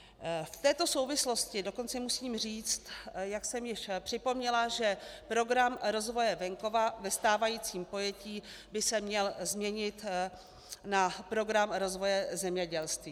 V této souvislosti dokonce musím říct, jak jsem již připomněla, že Program rozvoje venkova ve stávajícím pojetí by se měl změnit na Program rozvoje zemědělství.